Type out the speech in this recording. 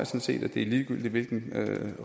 set det er ligegyldigt hvilke